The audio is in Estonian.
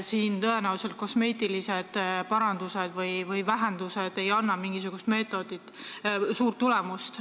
Siin ei anna tõenäoliselt kosmeetilised parandused või vähendused mingisugust suurt tulemust.